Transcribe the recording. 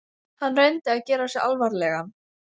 Hann reyndi að gera sig alvarlegan.